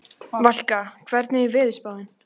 Valka, hvernig er veðurspáin?